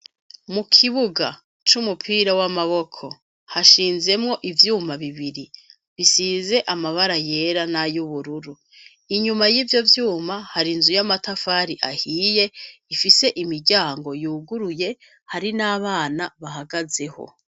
Mukibuga c'umupira w'amaboko hashinze ivyuma bibiri bisize amabara yera n'ay'ubururu. Inyuma y'ivyo vyuma hari inzu y'amatafari ahiye, ifise imiryango yuguruye, hari n'abana bahagazeho